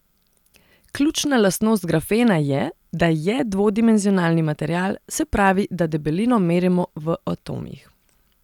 Ključna lastnost grafena je, da je dvodimenzionalni material, se pravi, da debelino merimo v atomih.